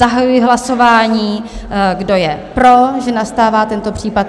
Zahajuji hlasování, Kdo je pro, že nastává tento případ?